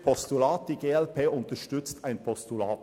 Die glp unterstützt ein Postulat.